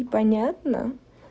не понятно